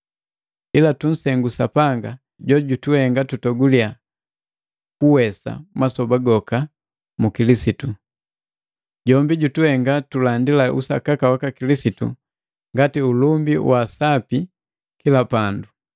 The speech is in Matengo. Ila tunsengula Sapanga, jojutuhenga tutoguliya ushindi masoba goka mu Kilisitu. Jombi jutuhenga tulandila usakaka waka Kilisitu ngati ulumba wa msapi kila pandu.